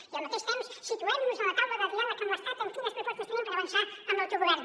i al mateix temps situem nos a la taula de diàleg amb l’estat en quines propostes tenim per avançar en l’autogovern